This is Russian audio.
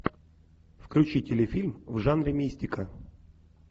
включи телефильм в жанре мистика